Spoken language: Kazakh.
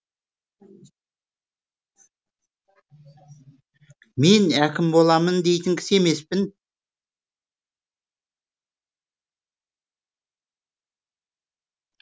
мен әкім боламын дейтін кісі емеспін